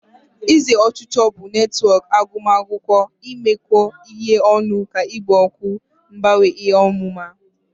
ụzọ ọchịchọ bụ netwọk agụmakwụkwọ, imekọ ihe ọnụ na ikpo okwu mgbanwe ihe ọmụma.